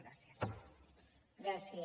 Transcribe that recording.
gràcies